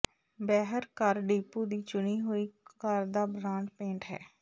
Behr ਘਰ depot ਦੀ ਚੁਣੀ ਹੋਈ ਘਰ ਦਾ ਬ੍ਰਾਂਡ ਪੇਂਟ ਹੈ